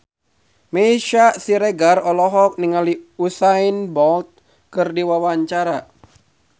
Meisya Siregar olohok ningali Usain Bolt keur diwawancara